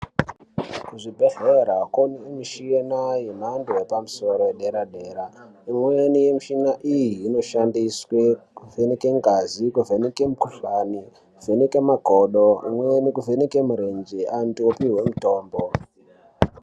Kuzvibhehleya komishini yemhando yepamusoro yedera dera imweni mishina iyi inoshandiswe kuvheneke ngazi kuvheneke mikuhlani kuvheneke makodo imweni kuvheneke mirenje antu opihwe mitombo .